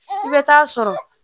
I bɛ taa sɔrɔ